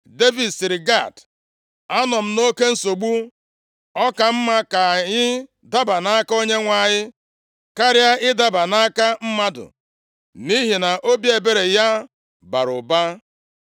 Devid sịrị Gad, “Anọ m nʼoke nsogbu, ọ ka mma ka anyị daba nʼaka Onyenwe anyị karịa ịdaba nʼaka mmadụ, nʼihi na obi ebere ya bara ụba.”